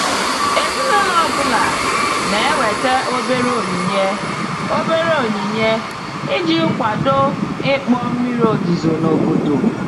Ezinụlọ ọ bụla na-eweta obere onyinye obere onyinye iji kwado ịkpọ mmiri ozuzo n'obodo.